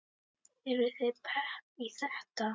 Eruð þið pepp í þetta?